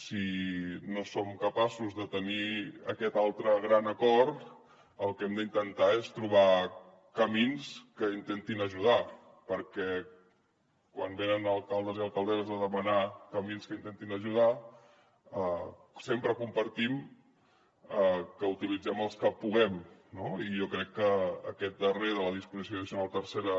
si no som capaços de tenir aquest altre gran acord el que hem d’intentar és trobar camins que intentin ajudar perquè quan venen alcaldes i alcaldesses a demanar camins que intentin ajudar sempre compartim que utilitzem els que puguem no i jo crec que aquest darrer de la disposició addicional tercera